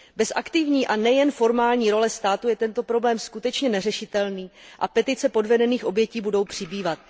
Bez aktivní a nejen formální role státu je tento problém skutečně neřešitelný a petice podvedených obětí budou přibývat.